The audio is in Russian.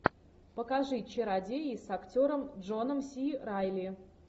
покажи чародеи с актером джоном си райли